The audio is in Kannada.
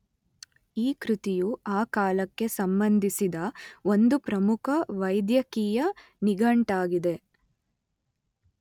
ಈ ಕೃತಿಯು ಆ ಕಾಲಕ್ಕೆ ಸಂಬಂಧಿಸಿದ ಒಂದು ಪ್ರಮುಖ ವೈದ್ಯಕೀಯ ನಿಘಂಟಾಗಿದೆ.